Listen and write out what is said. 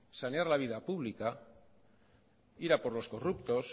la vida pública ir a por los corruptos